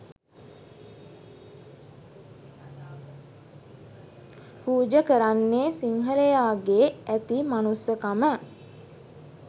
පුජ කරන්නේ සිංහලයාගේ ඇති මනුස්සකම